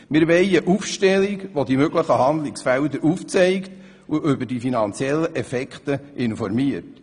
Wir wollen eine Aufstellung, welche die möglichen Handlungsfelder aufzeigt und über die finanziellen Auswirkungen informiert.